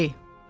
İrəli.